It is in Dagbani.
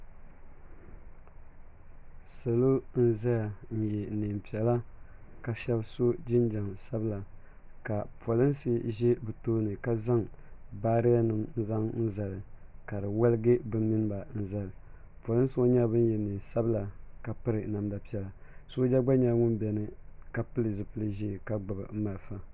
Salo n zaya n yɛ niɛn piɛla ka shɛba so jinjam sabila ka polinsi ʒɛ bi tooni ka zaŋ baariya nim n zaŋ zali ka di waligi bi mini ba n zali polinsi ŋɔ nyɛla bin yɛ niɛn sabila ka piri namda piɛla sooja gba nyɛla ŋun bɛni ka pili zipili ʒee ka gbubi malifa.